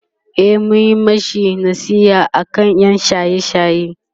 e mun mashi nasiha aka ƴan shaye shaye